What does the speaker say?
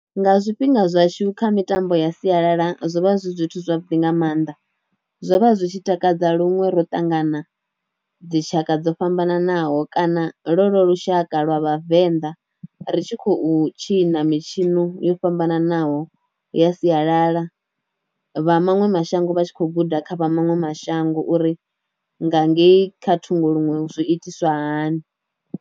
Nga zwifhinga zwashu kha mitambo ya sialala zwo vha zwi zwithu zwavhuḓi nga maanḓa, zwo vha zwi tshi takadza luṅwe ro ṱangana dzi tshaka dzo fhambananaho kana lo lo lushaka lwa vhavenḓa ri tshi khou tshina mitshino yo fhambananaho ya sialala, vha maṅwe mashango vha tshi kho guda kha vha maṅwe mashango uri nga ngei kha thungo luṅwe zwi itiswa hani.